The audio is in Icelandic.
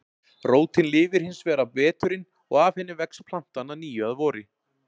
Rótin lifir hins vegar af veturinn og af henni vex plantan að nýju að vori.